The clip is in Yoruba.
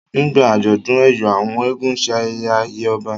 nígbà ajọdun eyọ àwọn eégún ṣe ayẹyẹ àyè ọba